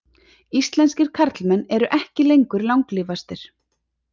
Íslenskir karlmenn ekki lengur langlífastir